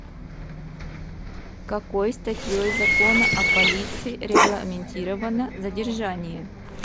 какой статьей закона о полиции регламентировано задержание